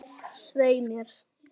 Svei mér.